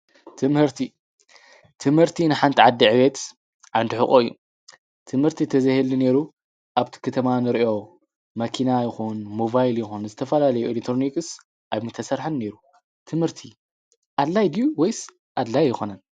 ትምህርቲ ፦ ትምህርቲ ንሓንቲ ዓዲ ዕብየት ዓንዲ ሑቐ እዩ። ትምህርቲ እንተዘይህሉ ነይሩ ኣብቲ ከተማ እንሪኦ መኪና ይኩን ሞባይል ይኩን ዝተፋላለዩ ኢሌክትሮኒክስ ኣይምተሰርሐን ነይሩ። ትምህርቲ ኣድላይ ድዩ ወይስ ኣድላይ ኣይኮነን?